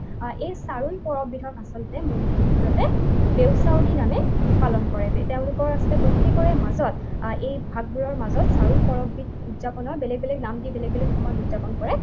এই চাৰুল পৰৱবিধক আচলতে মূল মূলতে দেওচাউলী নামে পালন কৰে। তেওঁলোকৰ আচলতে প্ৰত্যেকৰে মাজত এই ভাগবোৰৰ মাজত চাৰুল পৰৱবিধ উৎযাপনৰ বেলেগ বেলেগ নাম দি বেলেগ বেলেগ সময়ত উৎযাপন কৰে।